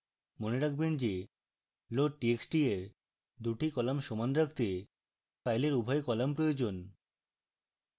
মনে রাখবেন যে loadtxt এর দুটি কলাম সমান রাখতে file উভয় কলাম প্রয়োজন